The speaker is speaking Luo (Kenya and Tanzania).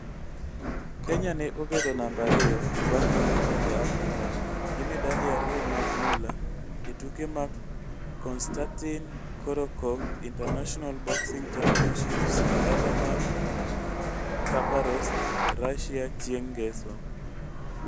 Kenya ne obedo namba ariyo bang' Morocco e Afrika gi medali ariyo mag mula e tuke mag Konstatin Korotkov International Boxing Championships e dala mar Khabarovsk, Russia chieng' ngeso.